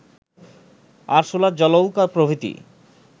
আরসুলা জলৌকা প্রভৃতি